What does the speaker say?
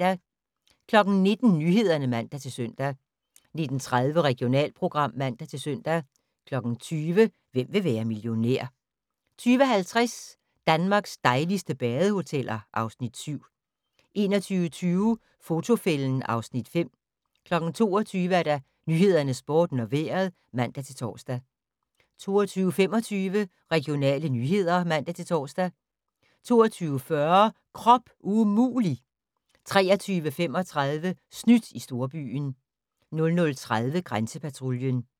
19:00: Nyhederne (man-søn) 19:30: Regionalprogram (man-søn) 20:00: Hvem vil være millionær? 20:50: Danmarks dejligste badehoteller (Afs. 7) 21:25: Fotofælden (Afs. 5) 22:00: Nyhederne, Sporten og Vejret (man-tor) 22:25: Regionale nyheder (man-tor) 22:40: Krop umulig! 23:35: Snydt i storbyen 00:30: Grænsepatruljen